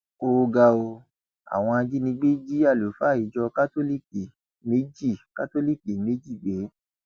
ó ga ọ àwọn ajínigbé jí àlùfáà ìjọ kátólíìkì méjì kátólíìkì méjì gbé